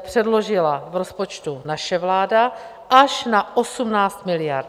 předložila v rozpočtu naše vláda, až na 18 miliard.